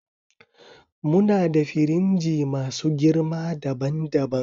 Muna da firinji masu girma daban daban